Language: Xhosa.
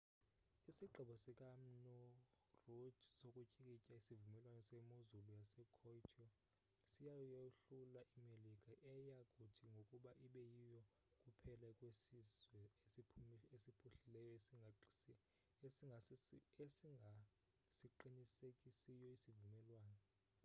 isigqibo sika mnu rudd sokutyikitya isivumelwano semozulu yasekyoto siyayohlula imelika eya kuthi ngoku ibe yiyo kuphela kwesizwe esiphuhlileyo esingasiqinisekisiyo isivumelwano